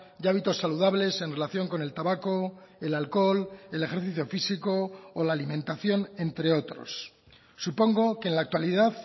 y hábitos saludables en relación con el tabaco el alcohol el ejercicio físico o la alimentación entre otros supongo que en la actualidad